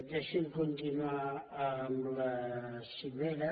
deixi’m continuar amb la cimera